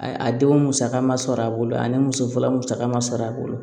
A a denw musaka ma sɔrɔ a bolo ani muso furula musaka ma sɔrɔ a bolo